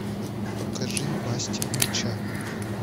покажи мастер меча